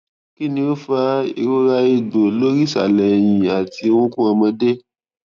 kini o fa irora egbo lori isale eyin ati orukun omode